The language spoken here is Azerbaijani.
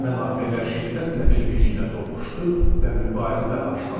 Mənafelər şiddətlə bir-biri ilə toqquşdu və mübarizə başladı.